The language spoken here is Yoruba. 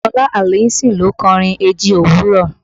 Ṣọlá Allyson ló kọ orin eji òwúrọ̀